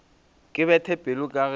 ke bete pelo ka ge